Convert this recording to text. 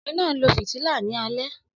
Ọkunrin naa nlo fitila ni alẹ